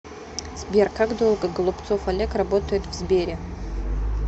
сбер как долго голубцов олег работает в сбере